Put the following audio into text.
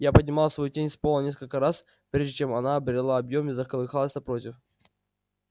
я поднимал свою тень с пола несколько раз прежде чем она обрела объём и заколыхалась напротив